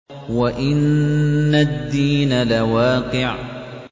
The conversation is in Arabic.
وَإِنَّ الدِّينَ لَوَاقِعٌ